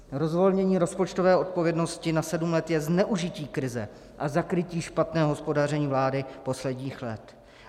Rozvolnění rozpočtové odpovědnosti na sedm let je zneužití krize a zakrytí špatného hospodaření vlády posledních let.